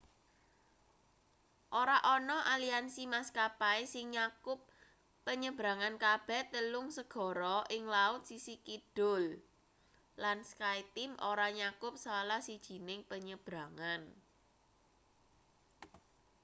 ora ana aliansi maskapai sing nyakup penyebrangan kabeh telung segara ing laut sisih kidul lan skyteam ora nyakup salah sijining penyebrangan